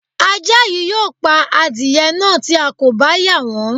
Ajá yìí yóò pa adirẹ̀ náà tí a kò bá yà wọ́n